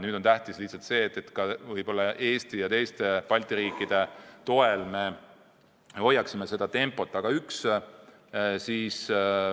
Nüüd on tähtis lihtsalt see, et Eesti ja teiste Balti riikide toel seda tempot hoitaks.